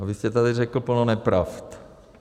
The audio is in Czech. A vy jste tady řekl plno nepravd.